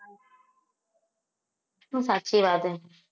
હા સાચી વાત હે